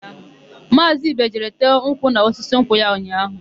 Maazị Ibe jere tee nkwụ n'osisi nkwụ ya ụnyaahụ.